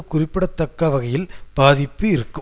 குறிப்பிடத்தக்க வகையில் பாதிப்பு இருக்கும்